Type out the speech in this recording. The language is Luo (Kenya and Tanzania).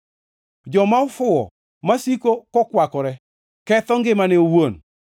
Joma ofuwo masiko kokwakore, ketho ngimane owuon.